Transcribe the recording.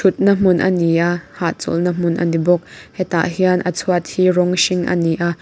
thut na hmun ani a hahchawlh na hmun ani bawk hetah hian a chhuat hi rawng hring a ni a.